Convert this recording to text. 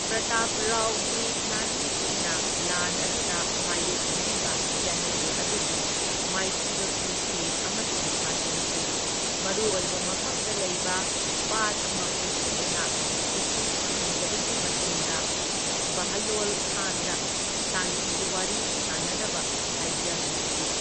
ꯄ꯭ꯔꯇꯥꯞꯔꯥꯎꯒꯤ ꯂꯥꯟꯃꯤꯁꯤꯡꯅ ꯂꯥꯟ ꯑꯗꯨꯗ ꯃꯥꯢꯌꯣꯛꯅꯔꯤꯕ ꯖꯦꯅꯔꯦꯜ ꯑꯗꯨꯕꯨ ꯃꯥꯏꯊꯤꯕ ꯄꯤꯈꯤ ꯑꯃꯁꯨꯡ ꯐꯥꯖꯤꯟꯈꯤ, ꯃꯔꯨꯑꯣꯏꯕ ꯃꯐꯝꯗ ꯂꯩꯕ ꯄꯥꯠ ꯑꯃ ꯀꯣꯏꯁꯤꯟꯗꯨꯅ ꯏꯁꯤꯡ ꯐꯪꯍꯟꯗꯕꯒꯤ ꯃꯇꯨꯡꯗ, ꯕꯍꯂꯣꯜ ꯈꯥꯟꯗ ꯁꯥꯟꯇꯤꯒꯤ ꯋꯥꯔꯤ ꯁꯥꯟꯅꯅꯕ ꯍꯥꯏꯖꯍꯟꯈꯤ꯫